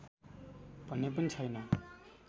भन्ने पनि छैन